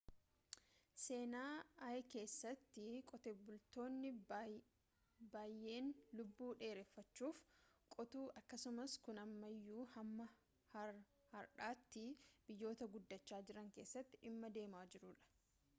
seenaa i keessatti qotee bultootni bayyene lubbuu dheereffachuuf qotu akkasumas kun ammayyuu hamma hardhatii biyyota guddacha jiran keessatti dhimma deemaa jiruudha